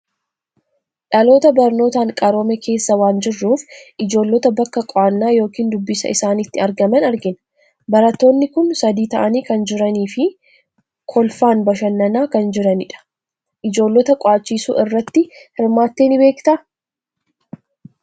Dhalootaaan barnootaan qaroome keessa waan jirruuf, ijoollota bakka qo'annaa yookiin dubbisaa isaaniitti argaman argina. Barattoonni kun sadii ta'anii kan jirani fi kolfaan bashannanaa kan jiranidha. Ijoollota qo'achisuu irratti hirmaattee ni beektaa?